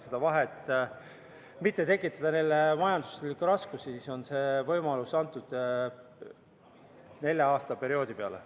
Selleks, et mitte tekitada neile majanduslikke raskusi, on see võimalus antud nelja-aastase perioodi peale.